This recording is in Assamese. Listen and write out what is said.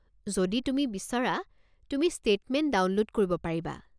যদি তুমি বিচৰা, তুমি ষ্টেটমেণ্ট ডাউনলোড কৰিব পাৰিবা।